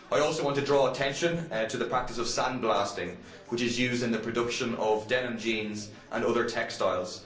I also want to draw attention to the practice of sandblasting, which is used in the production of denim jeans and other textiles.